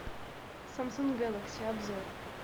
самсунг гелакси обзор